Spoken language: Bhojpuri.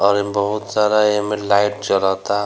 और एमें बहुत सारा एमें लाइट जरता।